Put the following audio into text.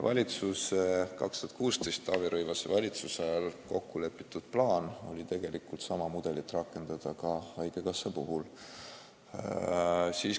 Aastal 2016 Taavi Rõivase valitsuse ajal kokku lepitud plaan oli tegelikult sama mudelit rakendada ka haigekassa puhul.